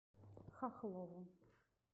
хохлову